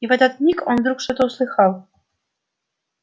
и в этот миг он вдруг что-то услыхал